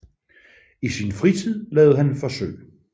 I sin fritid lavede han forsøg